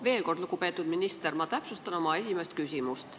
Veel kord, lugupeetud minister, täpsustan oma esimest küsimust.